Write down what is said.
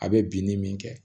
A bɛ binni min kɛ